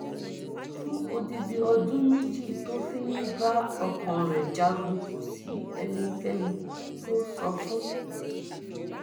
fún odidi ọdún méjì tó fi ń bá ọkàn rẹ jagun kò sí ẹnikẹni tó sọ fún